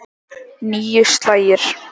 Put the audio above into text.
Níu slagir.